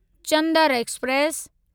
Chander express